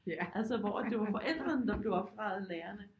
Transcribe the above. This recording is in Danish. Altså hvor at det var forældrene der blev opdraget af lærerne